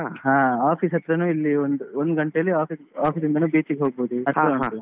ಹ office ಹತ್ರನು ಇಲ್ಲಿ ಒಂದ್ ಒಂದು ಗಂಟೇಲಿ office ಇಂದನು beach ಗೆ ಹತ್ರ ಉಂಟು.